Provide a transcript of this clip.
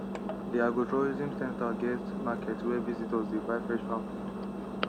the agrotourism centre get market where visitors dey buy fresh farm food